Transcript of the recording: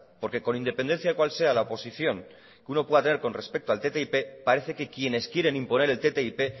porque con independencia de cuál sea la posición que uno pueda tener con respecto al ttip parece que quienes quieren imponer el ttip